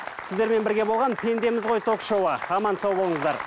сіздермен бірге болған пендеміз ғой ток шоуы аман сау болыңыздар